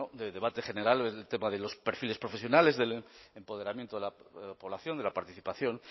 de debate general el tema de los perfiles profesionales del empoderamiento de la población de la participación